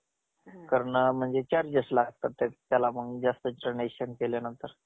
एक cake बनवला का हे घरी बसल्या बसल्या दीडशे दोनशे बसते आपल्याला